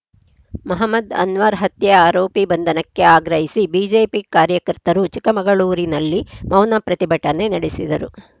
ಮಹಮದ್‌ ಅನ್ವರ್‌ ಹತ್ಯೆ ಆರೋಪಿ ಬಂಧನಕ್ಕೆ ಆಗ್ರಹಿಸಿ ಬಿಜೆಪಿ ಕಾರ್ಯಕರ್ತರು ಚಿಕ್ಕಮಗಳೂರಿನಲ್ಲಿ ಮೌನ ಪ್ರತಿಭಟನೆ ನಡೆಸಿದರು